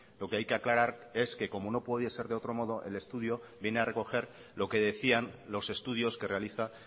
lo que hay que aclarar es que como no podía ser de otro modo el estudio viene a recoger lo que decían los estudios que realiza